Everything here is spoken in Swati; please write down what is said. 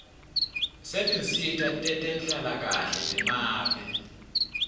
setinsita tetenhlalakahle temave